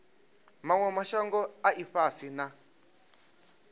manwe mashango a ifhasi na